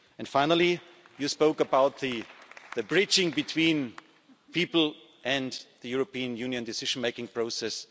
else. Finally, you spoke about the breach between people and the European Union decision-making